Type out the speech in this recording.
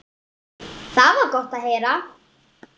Það var gott að heyra.